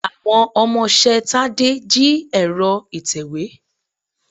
Àwọn ọmọṣẹ́ Tádé jí ẹ̀rọ ìtèwé.